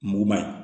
Muguma ye